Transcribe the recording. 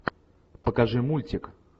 покажи мультик